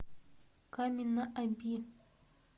камень на оби